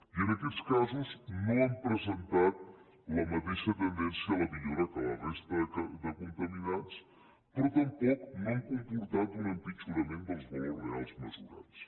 i en aquests casos no han presentat la mateixa tendència a la millora que a la resta de contaminants però tampoc no han comportat un empitjorament dels valors reals mesurats